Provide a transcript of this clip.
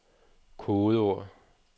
kodeord